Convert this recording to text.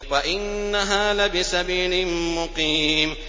وَإِنَّهَا لَبِسَبِيلٍ مُّقِيمٍ